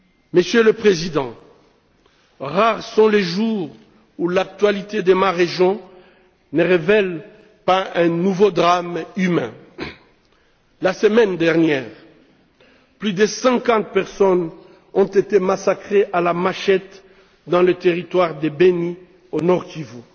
Monsieur le Président, rares sont les jours où l'actualité de ma région ne révèle pas un nouveau drame humain. La semaine dernière, plus de cinquante personnes ont été massacrées à la machette dans le territoire de Beni au Nord Kivu